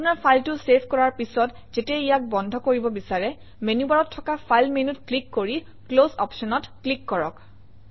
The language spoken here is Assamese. আপোনৰ ফাইলটো চেভ কৰাৰ পিছত যেতিয়া ইয়াক বন্ধ কৰিব বিচাৰে মেনুবাৰত থকা ফাইল মেনুত ক্লিক কৰি ক্লছ অপশ্যনত ক্লিক কৰক